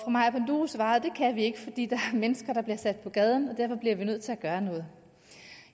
maja panduro svarede at det kan vi ikke fordi der er mennesker der bliver sat på gaden og derfor bliver vi nødt til at gøre noget